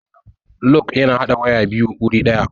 Lug ya na haɗa waya biyu wuri ɗaya